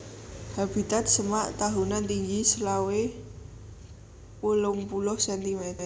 Habitat Semak tahunan tinggi selawe nganti wolung puluh cm